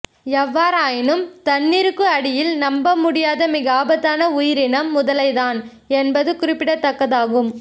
எவ்வாறாயினும் தண்ணீருக்கு அடியில் நம்ப முடியாத மிகவும் ஆபத்தான உயிரினம் முதலைதான் என்பது குறிப்பிடத்தக்கதாகும்